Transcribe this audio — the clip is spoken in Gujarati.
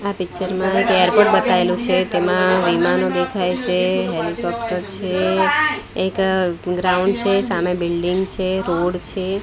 આ પિક્ચર મા એક એરપોર્ટ બેતાઇલુ છે તેમા વિમાનો દેખાય છે હેલિકોપ્ટર છે એક ગ્રાઉન્ડ છે સામે બિલ્ડિંગ છે રોડ છે.